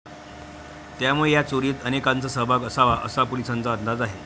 त्यामुळे या चोरीत अनेकांंचा सहभाग असाव असा पोलिसांचा अंदाज आहे.